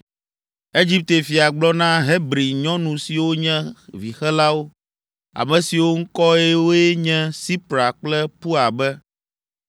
Egipte fia gblɔ na Hebri nyɔnu siwo nye vixelawo, ame siwo ŋkɔwoe nye Sipra kple Pua be,